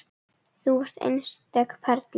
Þú varst einstök perla.